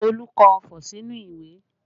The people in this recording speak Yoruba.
Olu kọ ọfọ̀ sínú ìwé